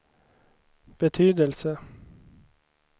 betydelse